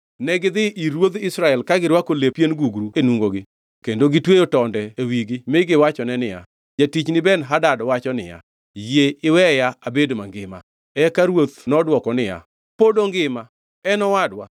Negidhi ir ruodh Israel ka girwako lep pien gugru e nungogi kendo gitweyo tonde wigi mi giwachone niya, “Jatichni Ben-Hadad wacho niya, Yie iweya abed mangima.” Eka ruoth nodwoko niya, “Pod ongima? En owadwa.”